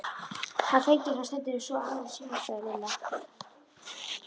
Hann flengir hann stundum svo aðrir sjá, sagði Lilla.